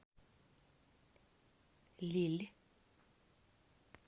лилль